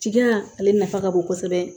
Jigiya ale nafa ka bon kosɛbɛ